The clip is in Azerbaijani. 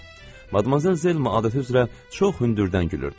Madmazel Zelma adəti üzrə çox hündürdən gülürdü.